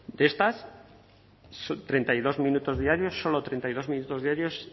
de estas treinta y dos minutos diarios solo treinta y dos minutos diarios